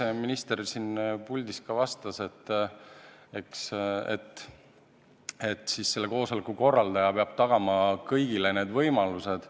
Eks minister siin puldis ka vastas, et siis peab koosoleku korraldaja tagama need võimalused.